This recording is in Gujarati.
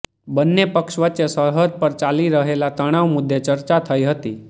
બન્ને પક્ષ વચ્ચે સરહદ પર ચાલી રહેલા તણાવ મુદ્દે ચર્ચા થઇ હતી